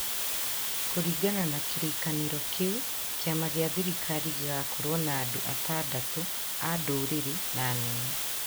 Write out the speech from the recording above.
Kũringana na kĩrĩkanĩro kĩu, kĩama gĩa thirikari gĩgakorũo na andũ atandatũ a ndũrĩrĩ na anene